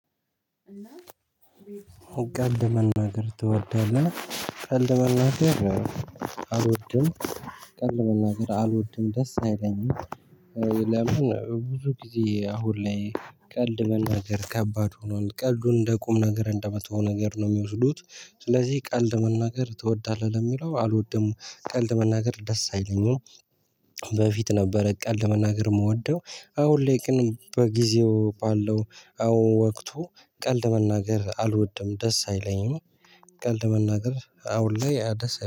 ቀልድ መናገር ትወዳለህ? ቀልድ መናገር አልወድም። ቀልድ መናገር አልወድም ደስ አይለኝም። ለምን? ብዙ ጊዜ አሁን ላይ ቀልድ መናገር ከባድ ሆኗል ቀልዱን እንደ ቁም ነገር እንደመጥፎ ነገር ነው የሚወስዱት። ስለዚህ ቀልድ መናገር ትወዳለህ ለሚለው አልወድም። ቀልድ መናገር ደስ አይለኝም። በፊት ነበረ ቀልድ መናገር የምወደው። አሁን ላይ ቅን በጊዜው ባለው አሁን ወቅቱ ቀልድ መናገር አልወድም ደስ አይለኝም። ቀልድ መናገር አሁን ላይ ደስ